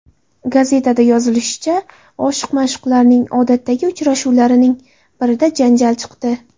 Gazetada yozilishicha, oshiq-ma’shuqlarning odatdagi uchrashuvlarining birida janjal chiqdi.